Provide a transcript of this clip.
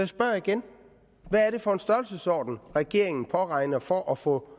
spørger igen hvad er det for en størrelsesorden regeringen påregner for at få